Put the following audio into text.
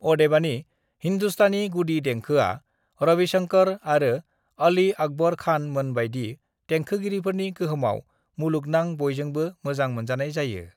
"अदेबानि, हिन्दुस्तानी गुदि देंखोआ रविशंकर आरो अली अकबर खान मोन बायदि देंखोगिरिफोरनि गोहोमाव मुलुगनां बयजोंबो मोजां मोनजानाय जायो।"